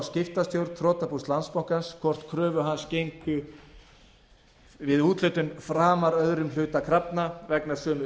skiptastjórn þrotabús landsbankans hvort kröfur hans gengju við úthlutun framar öðrum hluta krafna vegna sömu